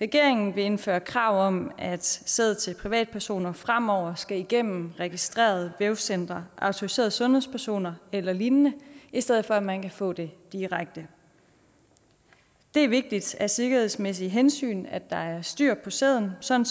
regeringen vil indføre et krav om at sæd til privatpersoner fremover skal igennem registrerede vævscentre autoriserede sundhedspersoner eller lignende i stedet for at man kan få det direkte det er vigtigt af sikkerhedsmæssige hensyn at der er styr på sæden sådan